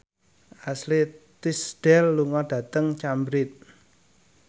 Ashley Tisdale lunga dhateng Cambridge